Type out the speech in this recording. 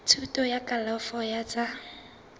thuto ya kalafo ya tsa